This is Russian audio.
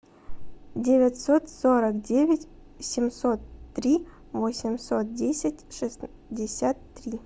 девятьсот сорок девять семьсот три восемьсот десять шестьдесят три